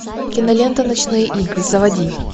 кинолента ночные игры заводи